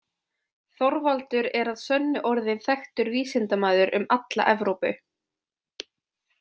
Þorvaldur er að sönnu orðinn þekktur vísindamaður um alla Evrópu.